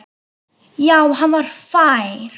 Já, hann var fær!